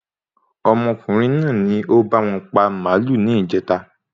Ọmọkùnrin náà ni o báwọn pa màálù ní ìjèta